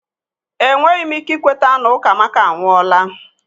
Enweghị m ike ikweta na Ukamaka anwụọla